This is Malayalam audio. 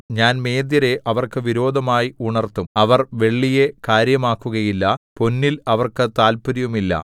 ഞാൻ മേദ്യരെ അവർക്ക് വിരോധമായി ഉണർത്തും അവർ വെള്ളിയെ കാര്യമാക്കുകയില്ല പൊന്നിൽ അവർക്ക് താത്പര്യവുമില്ല